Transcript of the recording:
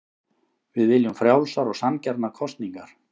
Við viljum frjálsar og sanngjarnar kosningar